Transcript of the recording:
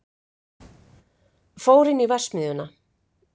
Fór inn í verksmiðjuna.